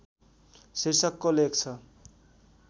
शीर्षकको लेख छ